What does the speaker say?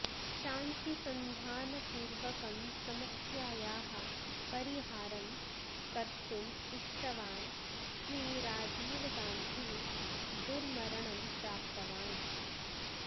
शान्तिसन्धानपूर्वकं समस्यायाः परिहारं कर्तुम् इष्टवान् श्री राजीवगान्धिः दुर्मरणं प्राप्तवान्